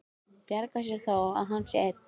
Bjargar sér þó að hann sé einn.